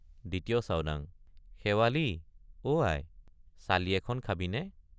২য় চাওডাং—শেৱালি অ আই—চালি এখন খাবিনে?